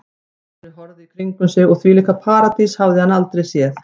Stjáni horfði í kringum sig og þvílíka paradís hafði hann aldrei séð.